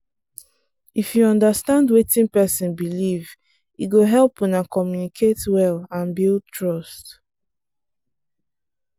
if you understand wetin person believe e go help una communicate well and build trust.